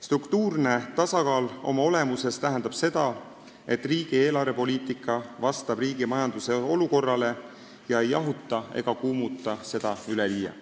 Struktuurne tasakaal oma olemuses tähendab seda, et riigi eelarvepoliitika vastab riigi majanduse olukorrale, ei jahuta ega kuumuta majandust üleliia.